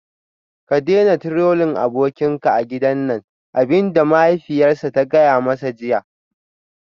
Ka daina Trolling abokinka a gidan nan abin da mahaifiyarsa ta gaya masa jiya